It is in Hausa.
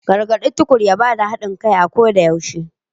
Gargade Tukur ya bada hadin kai a koda yaushe.